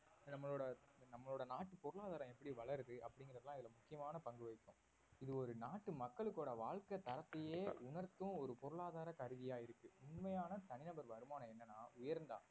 நம்மளோட நம்மளோட நாட்டு பொருளாதாரம் எப்படி வளருது அப்படிங்கறதலாம் இதுல முக்கியமான பங்கு வகிக்கும் இது ஒரு நாட்டு மக்களோட வாழ்க்கை தரத்தையே உணர்த்தும் ஒரு பொருளாதார கருவியா இருக்கு உண்மையான தனிநபர் வருமானம் என்னனா உயர்ந்தா